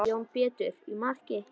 Jón Pétur í markið!